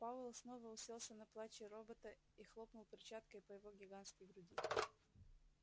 пауэлл снова уселся на плачи робота и хлопнул перчаткой по его гигантской груди